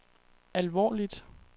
alvorligt